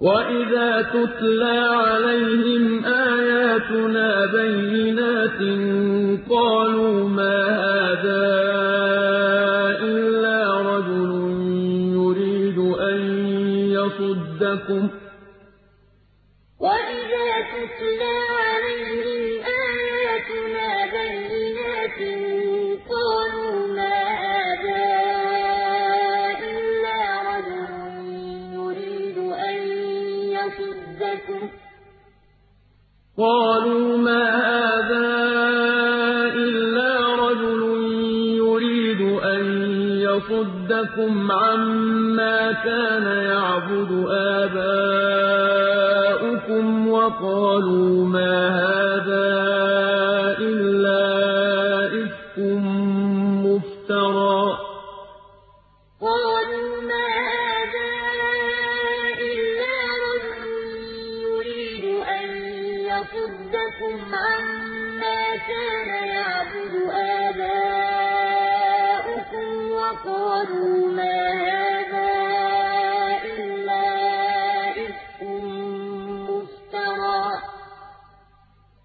وَإِذَا تُتْلَىٰ عَلَيْهِمْ آيَاتُنَا بَيِّنَاتٍ قَالُوا مَا هَٰذَا إِلَّا رَجُلٌ يُرِيدُ أَن يَصُدَّكُمْ عَمَّا كَانَ يَعْبُدُ آبَاؤُكُمْ وَقَالُوا مَا هَٰذَا إِلَّا إِفْكٌ مُّفْتَرًى ۚ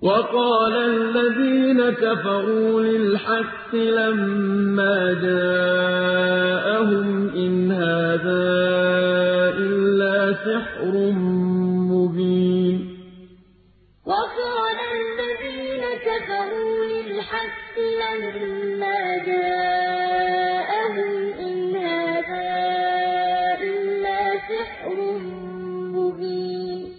وَقَالَ الَّذِينَ كَفَرُوا لِلْحَقِّ لَمَّا جَاءَهُمْ إِنْ هَٰذَا إِلَّا سِحْرٌ مُّبِينٌ وَإِذَا تُتْلَىٰ عَلَيْهِمْ آيَاتُنَا بَيِّنَاتٍ قَالُوا مَا هَٰذَا إِلَّا رَجُلٌ يُرِيدُ أَن يَصُدَّكُمْ عَمَّا كَانَ يَعْبُدُ آبَاؤُكُمْ وَقَالُوا مَا هَٰذَا إِلَّا إِفْكٌ مُّفْتَرًى ۚ وَقَالَ الَّذِينَ كَفَرُوا لِلْحَقِّ لَمَّا جَاءَهُمْ إِنْ هَٰذَا إِلَّا سِحْرٌ مُّبِينٌ